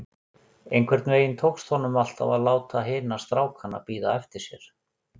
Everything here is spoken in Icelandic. Einhvern veginn tókst honum alltaf að láta hina strákana bíða eftir sér.